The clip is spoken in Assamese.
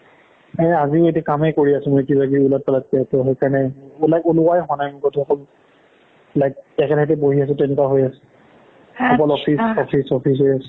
এই আজি এতিয়া কামেই কৰি আছো মই কিবা কিবি ওলট পালটকে ত' সেইকাৰণে ওলোৱাই হোৱা নাই ক'তো অকল like একেঠাইতে বহি আছো তেনেকুৱা হৈ আছে কেৱল office office office হৈ আছে